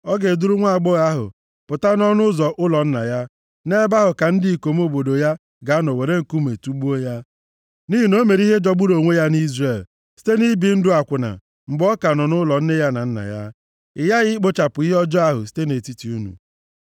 A ga-eduru nwaagbọghọ ahụ pụta nʼọnụ ụzọ ụlọ nna ya, nʼebe ahụ ka ndị ikom obodo ya ga-anọ were nkume tugbuo ya. Nʼihi na o mere ihe ihere jọgburu onwe ya nʼIzrel, site nʼibi ndụ akwụna mgbe ọ ka nọ nʼụlọ nne ya na nna ya. Ị ghaghị ikpochapụ ihe ọjọọ ahụ site nʼetiti unu.